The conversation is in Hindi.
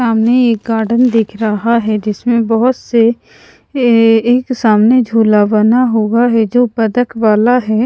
सामने एक गार्डन दिख रहा है जिसमें बहुत से एएए एक सामने झूला बना हुआ है जो बदक वाला है।